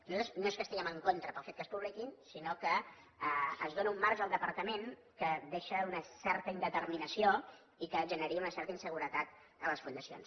nosaltres no és que hi estiguem en contra pel fet que es publiquin sinó que es dóna un marge al departament que deixa una certa indeterminació i que generaria una certa inseguretat a les fundacions